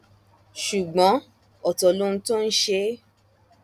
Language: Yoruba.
ṣùgbọn ọtọ lohun tó ń ṣe é